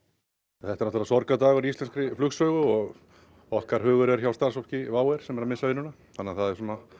þetta er sorgardagur í íslenskri flugsögu og okkar hugur er hjá starfsfólki WOW sem er að missa vinnuna það eru